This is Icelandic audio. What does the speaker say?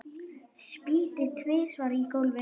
Spýti tvisvar á gólfið.